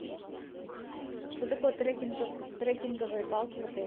что такое трекинговые палки в отеле